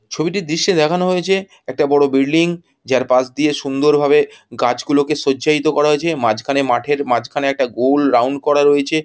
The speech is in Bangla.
ছবিটির দৃশ্যে দেখানো হয়েছে একটা বড়ো বিল্ডিং | যার পাশ দিয়ে সুন্দর ভাবে গাছ গুলোকে সজ্জাইতো করা হয়েছে | মাঝখানে মাঠের মাঝখানে একটা গোল রাউন্ড করা রয়েছে।